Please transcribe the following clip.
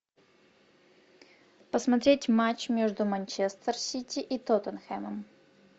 посмотреть матч между манчестер сити и тоттенхэмом